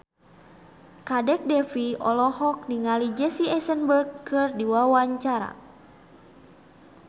Kadek Devi olohok ningali Jesse Eisenberg keur diwawancara